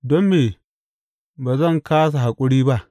Don me ba zan kāsa haƙuri ba?